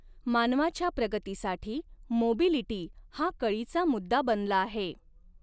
मानवाच्या प्रगतीसाठी मोबिलिटी हा कळीचा मु़द्दा बनला आहे.